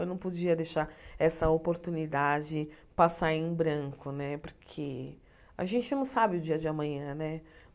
Eu não podia deixar essa oportunidade passar em branco né, porque a gente não sabe o dia de amanhã né.